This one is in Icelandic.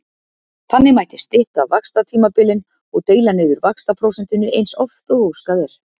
Þannig mætti stytta vaxtatímabilin og deila niður vaxtaprósentunni eins oft og óskað er.